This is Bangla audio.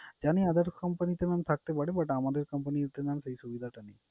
জানি other company তে mam থাকতে পারে but আমাদের company তে mam সেই সুবিধাটা নেই।